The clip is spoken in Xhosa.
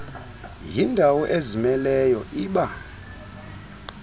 yindawo ezimeleyo iba